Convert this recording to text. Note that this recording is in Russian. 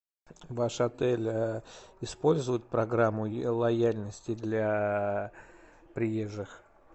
ваш отель использует программу лояльности для приезжих